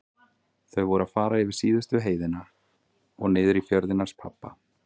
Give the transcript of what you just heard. Þau voru að fara yfir síðustu heiðina og niður í fjörðinn hans pabba.